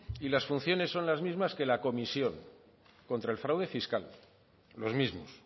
y las funciones son las mismas que la comisión contra el fraude fiscal los mismos